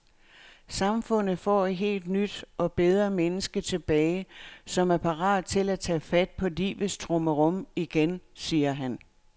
Samfundet får et helt nyt og bedre menneske tilbage, som er parat til at tage fat på livets trummerum igen, siger han.